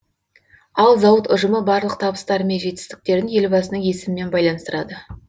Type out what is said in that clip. ал зауыт ұжымы барлық табыстары мен жетістіктерін елбасының есімімен байланыстырады